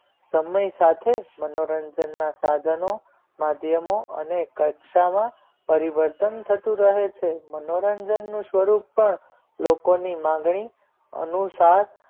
સમય સાથે મનોરંજન ના સાધનો માધ્યમો અને કક્ષામાં પરિવર્તન થતું રહે છે મનોરંજન નું સ્વરૂપ પણ લોકોની માંગણી અનુસાર